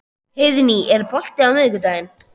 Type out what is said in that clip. Heiðný, er bolti á miðvikudaginn?